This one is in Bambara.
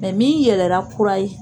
Mɛ min yɛlɛra kura ye